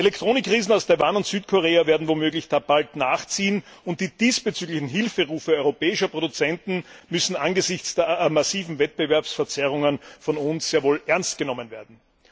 Elektronikriesen aus Taiwan und Südkorea werden womöglich da bald nachziehen, und die diesbezüglichen Hilferufe europäischer Produzenten müssen angesichts der massiven Wettbewerbsverzerrungen von uns sehr wohl ernst genommen werden.